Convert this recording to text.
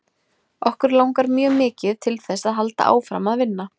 Okkur langar mjög mikið til þess að halda áfram að vinna.